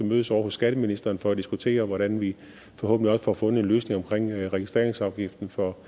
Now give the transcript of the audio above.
mødes ovre hos skatteministeren for at diskutere hvordan vi forhåbentlig også får fundet en løsning omkring registreringsafgiften for